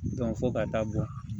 fo ka taa bɔn